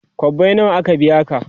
kwabbai nawa aka biya ka?